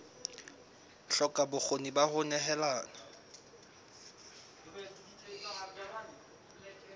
hloka bokgoni ba ho nehelana